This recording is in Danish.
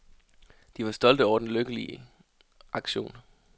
De var stolte over den vellykkede aktion.